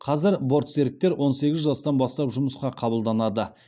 қазір бортсеріктер он сегіз жастан бастап жұмысқа қабылданады